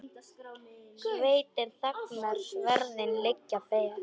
Sveitin þagnar, sverðin liggja ber.